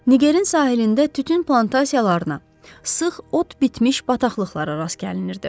Nigerin sahilində tütün plantasiyalarına, sıx ot bitmiş bataqlıqlara rast gəlinirdi.